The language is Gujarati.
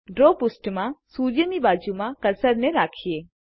ડ્રો પૃષ્ઠમાંસૂર્યની બાજુમાં કર્સરને રાખીએ